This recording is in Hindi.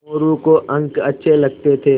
मोरू को अंक अच्छे लगते थे